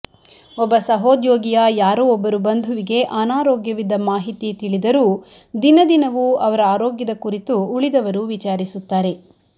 ಒಬ್ಬ ಸಹೋದ್ಯೋಗಿಯ ಯಾರೋ ಒಬ್ಬರು ಬಂಧುವಿಗೆ ಅನಾರೋಗ್ಯವಿದ್ದ ಮಾಹಿತಿ ತಿಳಿದರೂ ದಿನದಿನವೂ ಅವರ ಆರೋಗ್ಯದ ಕುರಿತು ಉಳಿದವರು ವಿಚಾರಿಸುತ್ತಾರೆ